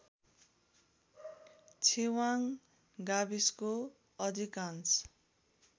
छिवाङ गाविसको अधिकांश